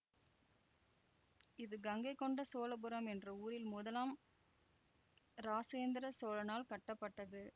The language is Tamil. இது கங்கை கொண்ட சோழபுரம் என்ற ஊரில் முதலாம் இராசேந்திர சோழனால் கட்ட பட்டது